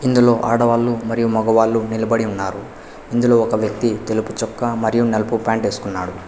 ఇందులో ఆడవాళ్లు మరియు మగవాళ్ళు నిలబడి ఉన్నారు ఇందులో ఒక వ్యక్తి తెలుపు చొక్క మరియు నలుపు ప్యాంట్ వేసుకున్నాడు.